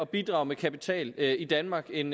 bidrage med kapital i danmark end